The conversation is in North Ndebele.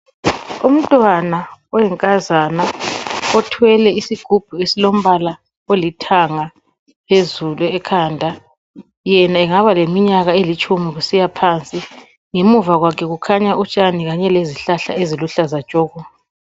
Umntwana oyinkazana othwele isigubhu esilombala olithanga phezulu ekhanda. Yena engaba leminyaka elitshumi kusiyaphansi. Ngemuva kwakhe kukhanya utshani kanye lezihlahla eziluhlaza tshoko.